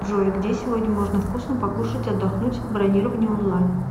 джой где сегодня можно вкусно покушать отдохнуть бронирование онлайн